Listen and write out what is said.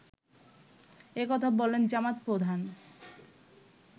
একথা বলেন জামাত প্রধান